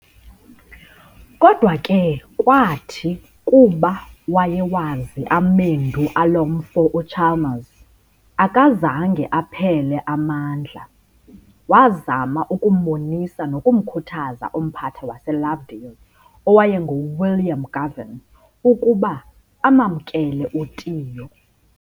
Kodwa ke kwathi kuba wayewazi amendu alo mfo uChalmers, akazange aphele amandla, wazama ukumbonisa nokumkhuthaza umphathi waseLovedale owayengu-William Goven ukuba amamkele u-Tiyo.